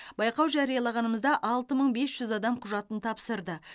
байқау жариялағанмызда алты мың бес жүз адам құжатын тапсырды